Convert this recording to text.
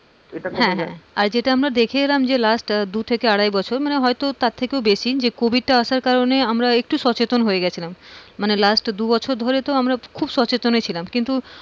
হ্যাঁ হ্যাঁ, আর যেটা আমরা দেখে এলাম যে last দুই থেকে আড়াই বছর হয়তো তার থেকেও বেশি, যে covid টা আসার কারনে আমরা একটু সচেতন হয়ে গেছিলাম। মানে last দু বছর ধরে তো খুব সচেতনই ছিলাম। কিন্তু,